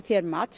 mat